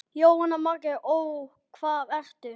Jóhanna Margrét: Og hvað ertu?